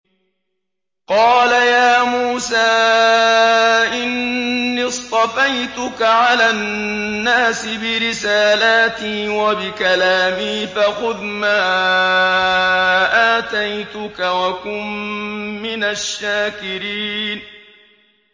قَالَ يَا مُوسَىٰ إِنِّي اصْطَفَيْتُكَ عَلَى النَّاسِ بِرِسَالَاتِي وَبِكَلَامِي فَخُذْ مَا آتَيْتُكَ وَكُن مِّنَ الشَّاكِرِينَ